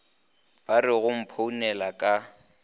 ba re go mphounela ka